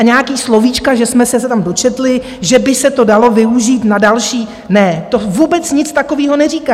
A nějaká slovíčka, že jsme se tam dočetli, že by se to dalo využít na další - ne, to vůbec nic takového neříká.